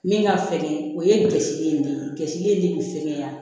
Min ka fɛgɛn o ye gasile ye ne ye gasile de fɛkɛya ya